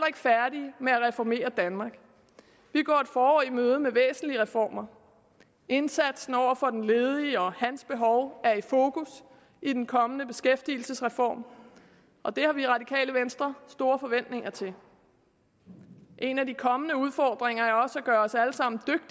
ikke færdige med at reformere danmark vi går et forår i møde med væsentlige reformer indsatsen over for den ledige og hans behov er i fokus i den kommende beskæftigelsesreform og det har vi i radikale venstre store forventninger til en af de kommende udfordringer